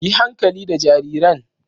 Yi hankali da jarirain.